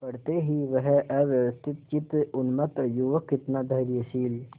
पड़ते ही वह अव्यवस्थितचित्त उन्मत्त युवक कितना धैर्यशील